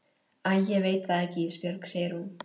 Æ ég veit það ekki Ísbjörg, segir hún.